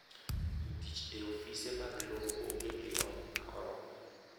jotich e ofise mag lowo onge gi lony ma oromo